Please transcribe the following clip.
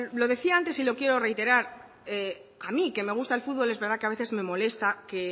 lo decía antes y lo quiero reiterar a mí que me gusta el fútbol es verdad que a veces me molesta que